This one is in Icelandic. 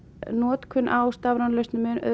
notkun á stafrænum lausnum er